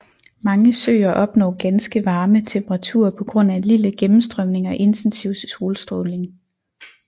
Mange søer opnår ganske varme temperaturer på grund af lille gennemstrømning og intensiv solstråling